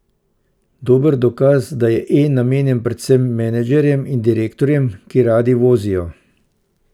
Dober dokaz, da je E namenjen predvsem menedžerjem in direktorjem, ki radi vozijo.